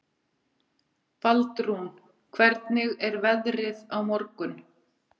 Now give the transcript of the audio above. Baldrún, hvernig er veðrið á morgun?